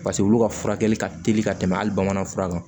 Paseke olu ka furakɛli ka teli ka tɛmɛ hali bamanan fura kan